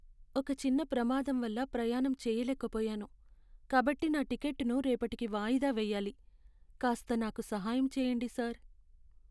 ఒక చిన్న ప్రమాదం వల్ల ప్రయాణం చేయలేకపోయాను, కాబట్టి నా టికెట్టును రేపటికి వాయిదా వేయాలి. కాస్త నాకు సహాయం చెయ్యండి సార్.